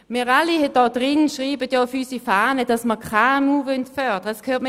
Wir alle hier im Grossen Rat schreiben auf unsere Fahne, dass wir die KMU fördern wollen.